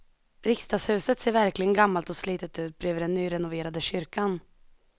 Riksdagshuset ser verkligen gammalt och slitet ut bredvid den nyrenoverade kyrkan.